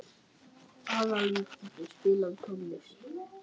Aðalvíkingur, spilaðu tónlist.